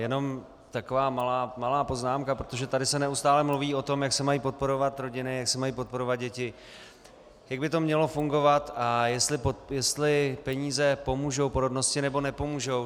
Jenom taková malá poznámka, protože tady se neustále mluví o tom, jak se mají podporovat rodiny, jak se mají podporovat děti, jak by to mělo fungovat a jestli peníze pomůžou porodnosti, nebo nepomůžou.